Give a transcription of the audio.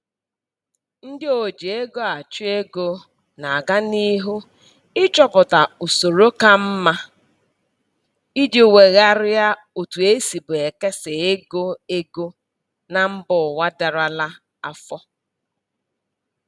Ndị oji ego achụ ego na-agan'ihu ịchọpụta usoro ka mma iji wegharịa otu esibu ekesa ego ego na mbụwa darala afọ